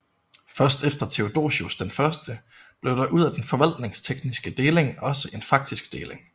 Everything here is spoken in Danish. Først efter Theodosius I blev der ud af den forvaltningstekniske deling også en faktisk deling